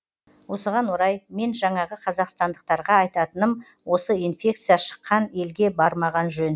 осыған орай мен жаңағы қазақстандықтарға айтатыным осы инфекция шыққан елге бармаған жөн